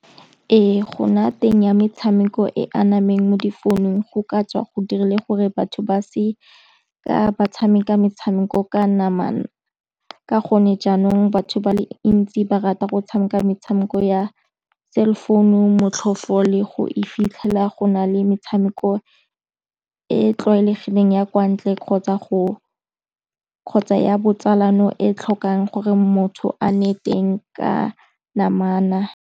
Ee, go nna teng ya metshameko e anameng mo difounung go ka tswa go dirile gore batho ba se ka ba tshameka metshameko ka namana. Ka gone jaanong batho ba le ntsi ba rata go tshameka metshameko ya cellphone-u motlhofu le go e fitlhela go na le metshameko e tlwaelegileng ya kwa ntle kgotsa ya botsalano e tlhokang gore motho a nne teng ka namana.